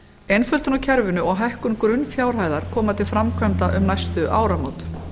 einföldun á kerfinu og hækkun grunnfjárhæðar koma til framkvæmda um næstu áramót